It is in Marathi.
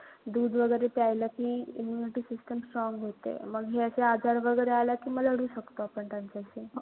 दूध वगैरे प्यायलं कि immunity system strong होते. मग हे अशे आजार वगैरे आले कि मग लढू शकतो आपण त्यांच्याशी.